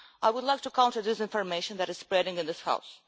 I would like to counter disinformation that is spreading in this House.